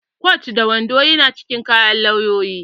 Kwat da wando ya na cikin kayan lauyoyi